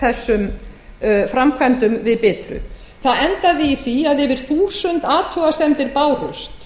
þessum framkvæmdum við bitru það endaði í því að yfir þúsund athugasemdir bárust